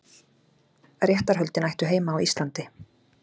Réttarhöldin ættu heima á Íslandi